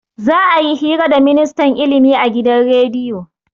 Za'a yi hira da ministan ilimi a gidan rediyo.